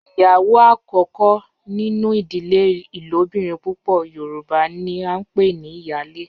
Iyawo akoko ninu idile ilobirin pupọ yoruba ni a npe ni iyale